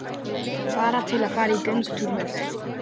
Bara til að fara í göngutúr með þau.